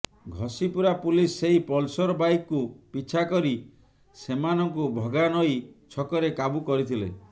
Ghasipura police ସେହି Pulsar bike କୁ ପିଛା କରି ସେମାନଙ୍କୁ ଭଗାନଇ ଛକରେ କାବୁ କରିଥିଲେ